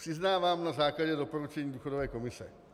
Přiznávám - na základě doporučení důchodové komise.